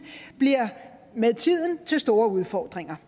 bliver med tiden til store udfordringer